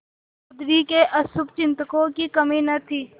चौधरी के अशुभचिंतकों की कमी न थी